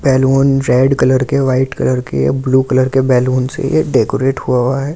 Balloon red colour के white colour के blue colour के बैलून से यह डेकोरेट हुआ है।